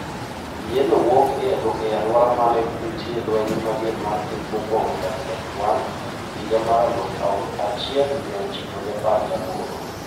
Yienno wuok e alwora mane nitie lweny mager mar piny mokwongo WW1 higa mar aluf achiel mia ochiko gi apar gi aboro.